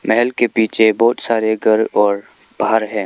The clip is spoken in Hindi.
महल के पीछे बहोत सारे घर और पहाड़ है।